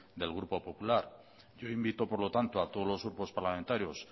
del grupo popular yo invito por lo tanto a todos los grupos parlamentarios